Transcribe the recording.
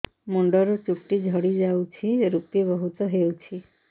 ମୁଣ୍ଡରୁ ଚୁଟି ଝଡି ଯାଉଛି ଋପି ବହୁତ ହେଉଛି